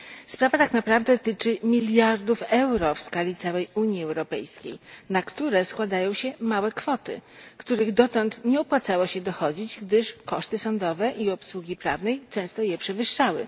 Sprawa tak naprawdę tyczy miliardów euro w skali całej Unii Europejskiej, na które składają się małe kwoty, których dotąd nie opłacało się dochodzić, gdyż koszty sądowe i obsługi prawnej często je przewyższały.